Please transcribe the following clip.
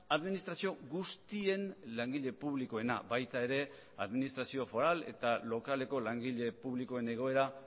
administrazio guztien langile publikoena baita ere administrazio foral eta lokaleko langile publikoen egoera